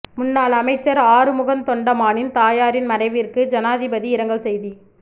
முன்னாள் அமைச்சர் ஆறுமுகன் தொண்டமானின் தாயாரின் மறைவிற்கு ஜனாதிபதி இரங்கல் செய்தி